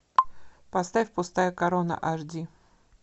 поставь пустая корона аш ди